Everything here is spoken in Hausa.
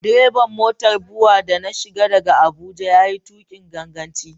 Direban motar BUA da na shiga daga Abuja ya yi tuƙin gaggawa.